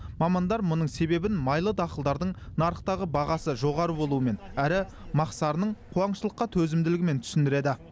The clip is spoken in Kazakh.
мамандар мұның себебін майлы дақылдардың нарықтағы бағасы жоғары болуымен әрі мақсарының қуаңшылыққа төзімділігімен түсіндіреді